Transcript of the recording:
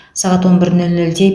сағат он бір нөл нөлде